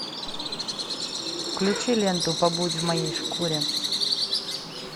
включи ленту побудь в моей шкуре